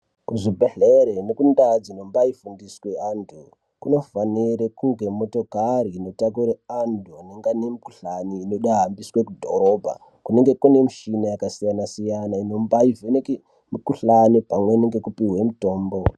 Kuzvibhedhlere nekuNdawu dzinobayirwe vandu kunofanirwe kuti kutogare kweyitakurwe vandu mweyitovabvise mudhorobha kunenge kune mishini yakasiyana siyana inombivheneke mikhuhlani pamweni ngokupiwe mutombo.